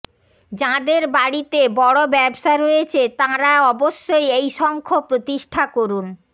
যাঁদের বাড়িতে বড় ব্যবসা রয়েছে তাঁরা অবশ্যই এই শঙ্খ প্রতিষ্ঠা করুন